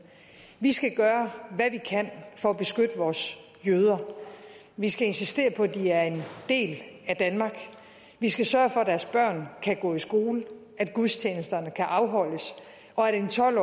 vi skal gøre hvad vi kan for at beskytte vores jøder vi skal insistere på at de er en del af danmark vi skal sørge for at deres børn kan gå i skole at gudstjenesterne kan afholdes og at en tolv